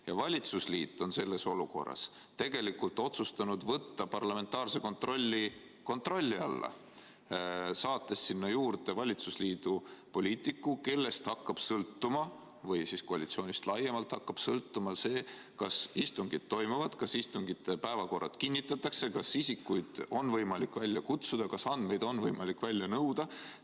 Ja valitsusliit on selles olukorras tegelikult otsustanud võtta parlamentaarse kontrolli alla, saates sinna juurde valitsusliidu poliitiku, kellest hakkab sõltuma või koalitsioonist laiemalt hakkab sõltuma see, kas istungid toimuvad, kas istungite päevakorrad kinnitatakse, kas isikuid on võimalik välja kutsuda, kas andmeid on võimalik välja nõuda.